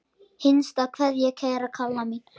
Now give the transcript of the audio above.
HINSTA KVEÐJA Kæra Kalla mín.